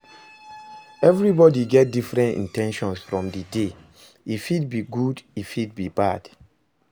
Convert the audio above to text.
Everybody get different in ten tions from di day, e fit be good e fit be bad